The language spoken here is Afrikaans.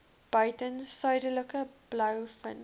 buiten suidelike blouvin